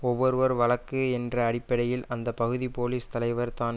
ஒவ்வொருவர் வழக்கு என்ற அடிப்படையில் அந்த பகுதி போலிஸ் தலைவர் தான்